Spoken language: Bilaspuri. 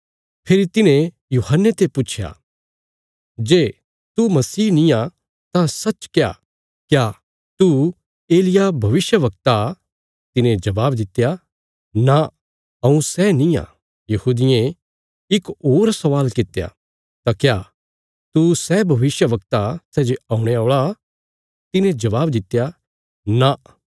फेरी तिन्हें यूहन्ने ते पुच्छया जे तू मसीह नींआ तां सच्च क्या क्या तू एलिय्याह भविष्यवक्ता तिने जबाब दित्या नां हऊँ सै निआं यहूदियें इक होर स्वाल कित्या तां क्या तू सै भविष्यवक्ता सै जे औणे औल़ा तिने जबाब दित्या नां